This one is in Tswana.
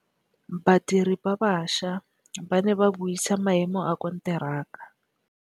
Badiri ba baša ba ne ba buisa maêmô a konteraka.